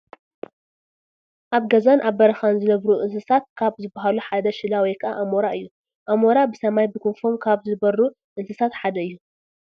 ኣብ ገዛን ኣብ በረኻን ዝነብሩ እንስሳታት ካብ ዝባሃሉ ሓደ ሽላ ወይ ከዓ ኣሞራ እዩ፡፡ ኣሞራ ብሰማይ ብክንፎም ካብ ዝበሩ እንስሳታት ሓደ እዩ፡፡